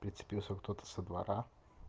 в принципе если кто-то со двора